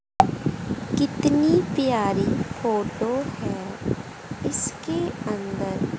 कितनी प्यारी फोटो है इसके अंदर--